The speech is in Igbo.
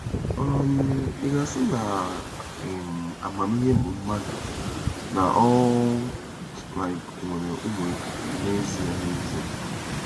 um Ị ga-asị na um amamihe bụ mmadụ, na ọ um nwere ụmụ n'ezie n'ezie?